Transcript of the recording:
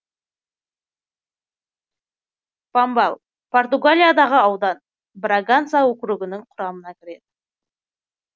помбал португалиядағы аудан браганса округінің құрамына кіреді